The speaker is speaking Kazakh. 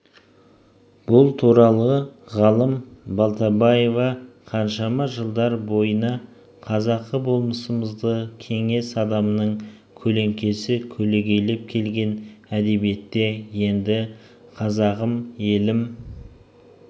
бұл туралы ғалым балтабаева қаншама жылдар бойына қазақы болмысымызды кеңес адамының көлеңкесі көлегейлеп келген әдебиетте енді қазағым елім